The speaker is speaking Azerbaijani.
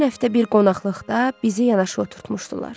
Ötən həftə bir qonaqlıqda bizi yanaşı oturtmuşdular.